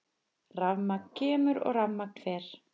Rafmagn kemur og rafmagn fer.